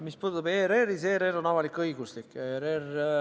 Mis puudutab ERR-i, siis ta on avalik-õiguslik.